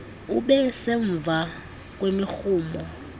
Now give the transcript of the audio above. ube semva ngemirhumo